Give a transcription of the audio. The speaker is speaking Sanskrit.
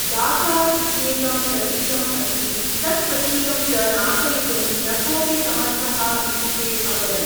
डाकार् इत्येकं प्रतीकम् अस्ति, तत् प्रतीकं च नाशयितुं न कोपि समर्थः इति ते अवदन्।